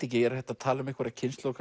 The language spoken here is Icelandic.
ekki er hægt að tala um einhverja kynslóð